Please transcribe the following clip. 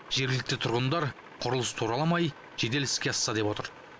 жергілікті тұрғындар құрылыс тураламай жедел іске асса деп отыр